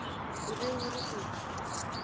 o be o re o